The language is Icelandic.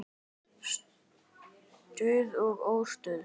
Stuð og óstuð.